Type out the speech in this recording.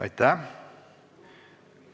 Aitäh!